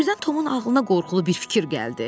Birdən Tomun ağlına qorxulu bir fikir gəldi.